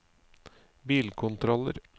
bilkontroller